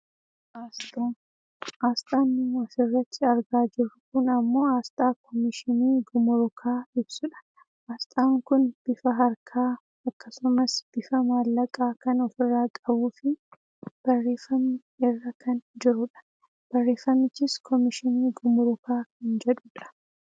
Aasxaa, aasxaan nu asirratti argaa jirru kun ammoo aasxaa komishinii gumuruuaa ibsudha. aasxaan kun bifa harkaa akkasumas bifa maallaqaa kan ofirraa qabuufi barreeffamni irra kan jirudha. baarreffamichis komishinii gumuruukaa kan jedhudha.